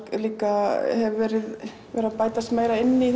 líka hefur verið verið að bætast meira inn í